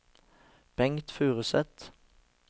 Bengt Furuseth